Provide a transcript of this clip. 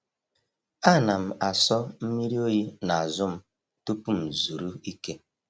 A na m aso mmiri oyi n’azụ m tupu m zuru ike.